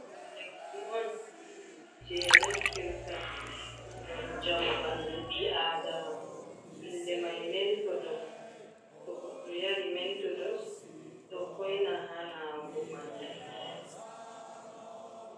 dum lekki on je naftirta ngam jamo bandu bi adama inde mai mentodos to goddo yari menthodos do hoina ha nawugo bandu